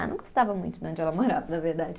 Ah, não gostava muito de onde ela morava, na verdade.